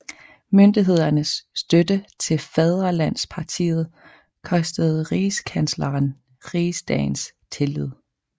Myndighedernes støtte til Fædrelandspartiet kostede rigskansleren rigsdagens tillid